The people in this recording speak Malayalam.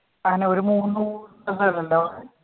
ഒരു മൂന്ന്